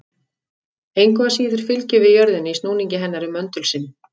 Engu að síður fylgjum við jörðinni í snúningi hennar um möndul sinn.